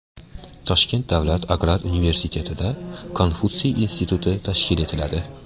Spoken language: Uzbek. Toshkent davlat agrar universitetida Konfutsiy instituti tashkil etiladi.